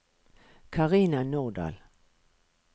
Carina Nordal